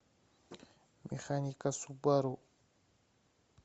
механика субару